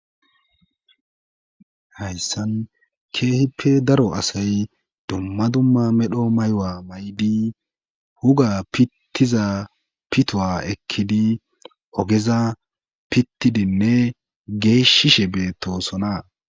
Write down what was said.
Hayssan keehippe daro asay dumma dumma medho maywa may'di huga pittiza pitowa ekkidi ogeza pittidinne geeshishe beetosona.